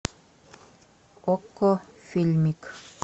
окко фильмик